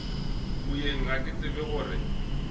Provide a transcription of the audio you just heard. moyeng ga ke tsebe gore